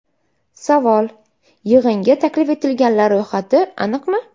Savol: Yig‘inga taklif etilganlar ro‘yxati aniqmi?